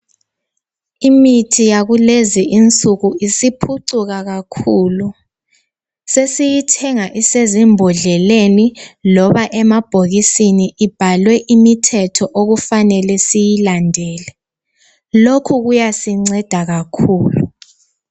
Imithi yakulezinsuku isiphucuka kakhulu, sesiyithenga isezimbodleleni loba isemabhokisini ibhalwe imithetho okufanele siyilandele. Lokhu kuyasinceda kakhulu.